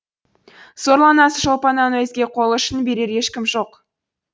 сорлы анасы шолпаннан өзге қол ұшын берер ешкім жоқ